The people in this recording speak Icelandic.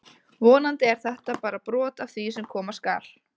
Vonandi er þetta bara brot af því sem koma skal!